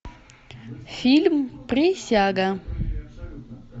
фильм присяга